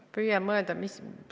Püüan mõelda, mis ...